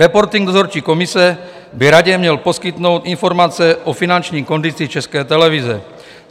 Reporting dozorčí komise by Radě měl poskytnout informace o finanční kondici České televize.